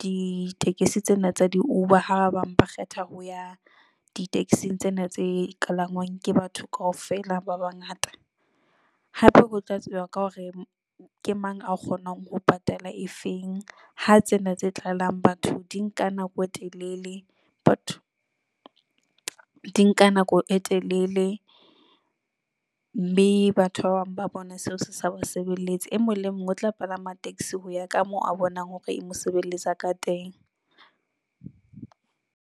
ditekesi tsena tsa di-uber, ha ba bang ba kgetha ho ya di-taxi-ng tsena tse kalangwang ke batho kaofela ba bangata. Hape ho tla tseba ka hore ke mang a kgonang ho patala e feng. Ha tsena tse tlalang batho di nka nako e telele, batho di nka nako e telele mme batho ba bang ba bona seo se sa basebeletsi. E mong le mong o tla palama taxi ho ya ka moo a bonang hore e mo sebeletsa ka teng.